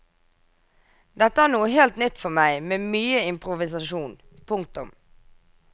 Dette er noe helt nytt for meg med mye improvisasjon. punktum